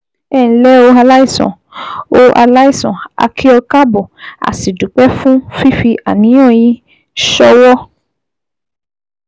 Ẹ ǹlẹ́ o Aláìsàn, o Aláìsàn, A kì ọ káàbọ̀, a sì dúpẹ́ fún fífi àníyàn yín ṣọwọ́